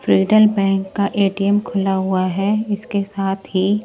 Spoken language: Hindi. फ्रीडल बैंक का ए_टी_एम खुला हुआ है इसके साथ ही --